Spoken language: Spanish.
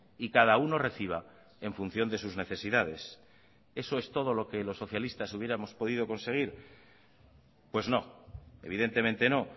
y cada uno reciba en función de sus necesidades eso es todo lo que los socialistas hubiéramos podido conseguir pues no evidentemente no